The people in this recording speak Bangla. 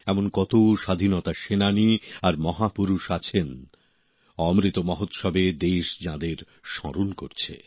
এমন কত স্বাধীনতা সেনানী আর মহাপুরুষ আছেন অমৃত মহোৎসবে দেশ যাঁদের স্মরণ করছে